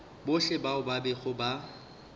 bohle bao ba bego ba